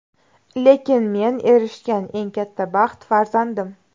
Lekin men erishgan eng katta baxt farzandim.